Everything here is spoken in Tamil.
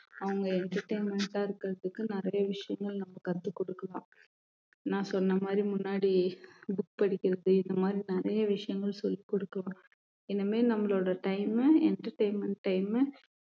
அவங்க entertainment ஆ இருக்கிறதுக்கு நிறைய விஷயங்கள் நம்ம கத்துக் கொடுக்கலாம் நான் சொன்ன மாரி முன்னாடி book படிக்கிறது இந்த மாரி நிறைய விஷயங்கள் சொல்லிக் கொடுக்கணும் இனிமே நம்மளோட time அ entertainment time உ